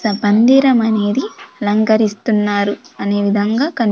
త మందిరమనేది లంగరిస్తున్నారు అనే విధంగా కని--